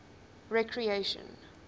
recreation